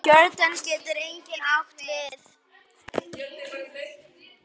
Jórdan getur einnig átt við